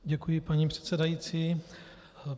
Děkuji, paní předsedající.